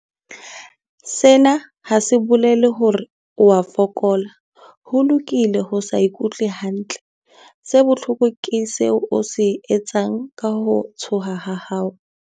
Sena ha se bolele hore o a fokola. Ho lokile ho se ikutlwe hantle. Se bohlokwa ke seo o se etsang ka ho tshoha ha hao.